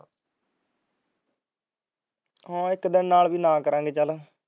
ਹਾਂ ਇੱਕ ਦਿਨ ਨਾ ਕਰਾਂਗੇ ਚੱਲ